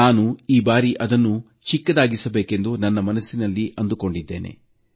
ನಾನು ಈ ಬಾರಿ ಅದನ್ನು ಚಿಕ್ಕದಾಗಿಸಬೇಕೆಂದು ಮನಸ್ಸಿನಲ್ಲಿ ಅಂದುಕೊಂಡಿದ್ದೇನೆ